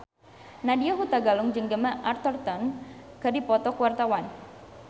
Nadya Hutagalung jeung Gemma Arterton keur dipoto ku wartawan